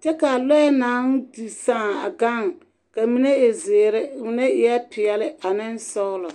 Kyɛ kaa lɔɛ naŋ di saaŋ a gaŋ ka mine e zeere, mine e peɛle ane sɔglɔ.